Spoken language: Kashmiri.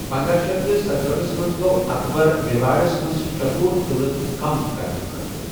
پندہَ شیتھ تہٕ ستہأٹھس منٛز گوٚو اکبر میواڑس منٛز چتور قٕعلہٕ کم کرنہٕ خٲطرٕ۔